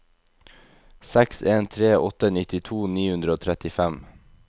seks en tre åtte nittito ni hundre og trettifem